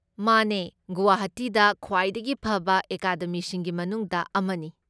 ꯃꯥꯅꯦ, ꯒꯨꯋꯥꯍꯥꯇꯤꯗ ꯈ꯭ꯋꯥꯏꯗꯒꯤ ꯐꯕ ꯑꯦꯀꯥꯗꯃꯤꯁꯤꯡꯒꯤ ꯃꯅꯨꯡꯗ ꯑꯃꯅꯤ꯫